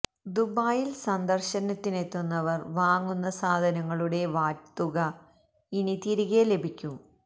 ദുബായില് സന്ദര്ശനത്തിനെത്തുന്നവര് വാങ്ങുന്ന സാധനങ്ങളുടെ വാറ്റ് തുക ഇനി തിരികെ ലഭിക്കും